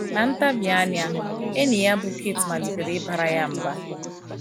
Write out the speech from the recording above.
Na nta bi anya, enyi ya bụ́ Kate malitere ịbara ya mba.